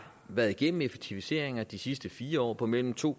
været igennem effektiviseringer i de sidste fire år på mellem to